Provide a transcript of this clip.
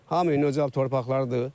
Hamının özəl torpaqlarıdır.